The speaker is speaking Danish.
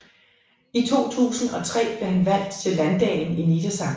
I 2003 blev han valgt til landdagen i Niedersachsen